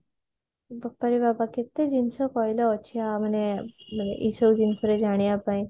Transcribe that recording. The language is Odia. ବାପା ରେ ବାପା କେତେ ଜିନିଷ କହିଲ ଅଛି ଆ ମାନେ ଏସବୁ ବିଷୟରେ ଜାଣିବା ପାଇଁ